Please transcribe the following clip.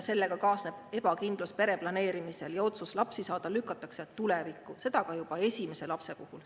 Sellega kaasneb ebakindlus pere planeerimisel ja otsus lapsi saada lükatakse tulevikku, seda ka juba esimese lapse puhul.